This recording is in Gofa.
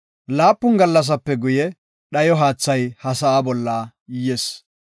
Laapun gallasape guye, dhayo haathay ha sa7a bolla yis.